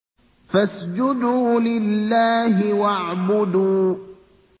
فَاسْجُدُوا لِلَّهِ وَاعْبُدُوا ۩